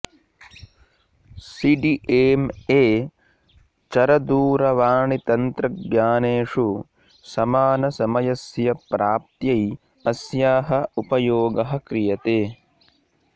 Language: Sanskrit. सि डि एम् ए चरदूरवाणितन्त्रज्ञानेषु समानसमयस्य प्राप्त्यै अस्याः उपयोगः क्रियते